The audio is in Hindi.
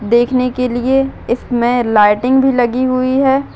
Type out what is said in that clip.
देखने के लिए इसमें लायटिंग भी लगी हुई है।